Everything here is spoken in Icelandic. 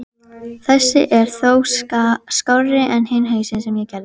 Þessi er þó skárri en hinn hausinn sem ég gerði.